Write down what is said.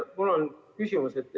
Mul on küsimus.